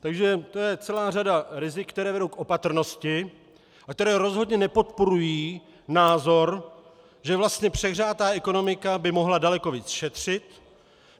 Takže to je celá řada rizik, která vedou k opatrnosti a která rozhodně nepodporují názor, že vlastně přehřátá ekonomika by mohla daleko víc šetřit.